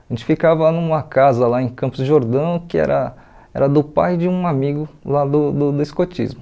A gente ficava numa casa lá em Campos de Jordão, que era era do pai de um amigo lá do do do escotismo.